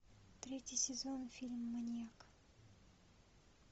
третий сезон фильма маньяк